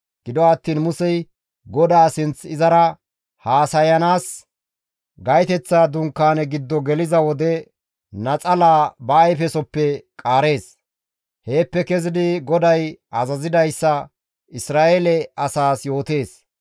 Gido attiin Musey GODAA sinth izara haasayanaas gaytoteththa dunkaane giddo geliza wode naxalaa ba ayfesoppe qaarees. Heeppe kezidi GODAY azazidayssa Isra7eele asaas yootees.